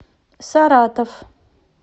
саратов